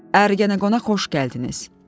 Ərgenəqona xoş gəldiniz.